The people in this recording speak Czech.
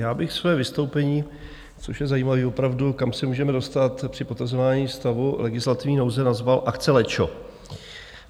Já bych své vystoupení, což je zajímavé opravdu, kam se můžeme dostat při potazování stavu legislativní nouze, nazval "akce lečo".